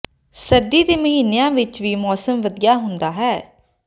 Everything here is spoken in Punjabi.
ਸਰਦੀ ਦੇ ਮਹੀਨਿਆਂ ਵਿਚ ਵੀ ਮੌਸਮ ਵਧੀਆ ਹੁੰਦਾ ਹੈ